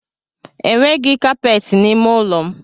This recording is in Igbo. E nweghi kapeti n’ime ụlọ m